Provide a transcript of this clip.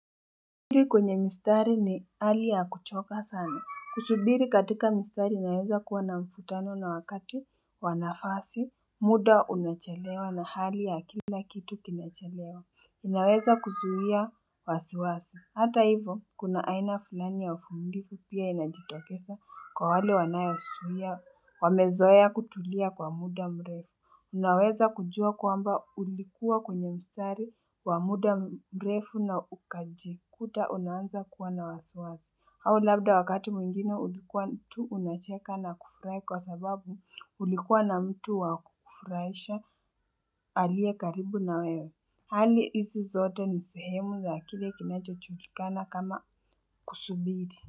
Kusubiri kwenye mistari ni hali ya kuchoka sana. Kusubiri katika mistari inaweza kuwa na mvutano na wakati wa nafasi. Muda unachelewa na hali ya kila kitu kinachelewa. Inaweza kuzuia wasiwasi. Hata hivo, kuna aina fulani ya uvumilivu pia inajitokeza kwa wale wanayozuia. Wamezoea kutulia kwa muda mrefu. Unaweza kujua kwamba ulikuwa kwenye msari wa muda mrefu na ukajikuta unaanza kuwa na wasiwasi. Au labda wakati mwingine ulikuwa tu unacheka na kufurahi kwa sababu ulikuwa na mtu wakufurahisha aliye karibu na wewe. Hali hizi zote ni sehemu za kile kinachojulikana kama kusubiri.